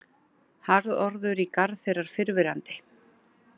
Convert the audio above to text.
Harðorður í garð þeirrar fyrrverandi